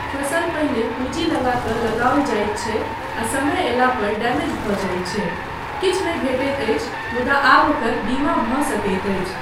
फसल पहिने पूञ्जी लगा कऽ लगाओल जाइत छै आ समय अयला पर डैमेज भऽ जाइत छै, किछु नहि भेटैत अछि मुदा आब ओकर बीमा भऽ सकैत अछि।